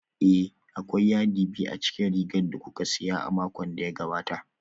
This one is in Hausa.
Ee, akwai yadi biyu a cikin rigar da kuka siya a makon da ya gabata